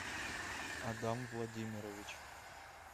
адам владимирович